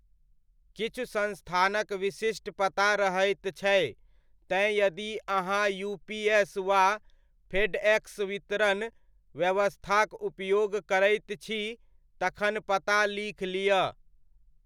किछु संस्थानक विशिष्ट पता रहैत छै, तेँ यदि अहाँ यूपीएस वा फेडएक्स वितरण व्यवस्थाक उपयोग करैत छी, तखन पता लीख लिअ।